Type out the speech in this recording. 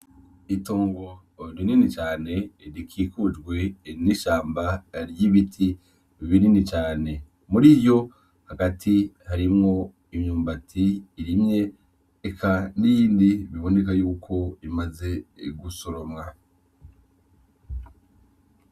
Itongo rinini cane rikikujwe n’ishamba ry’ibiti binini cane muriyo hagati harimwo imyumbati irimye eka nindi biboneka yuko imaze gusoromwa.